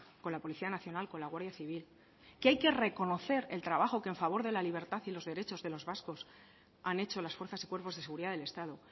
con la policía nacional con la guardia civil que hay que reconocer el trabajo que a favor de la libertad y los derechos de los vasco han hecho las fuerzas y cuerpos de seguridad del estado